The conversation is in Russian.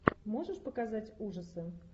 можешь показать ужасы